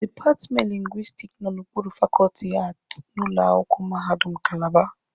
Dipatmenti lingwistiki nọ n'okpuru fakọọtị Aati n'ụlọ akwụkwọ mahadum Kalaba.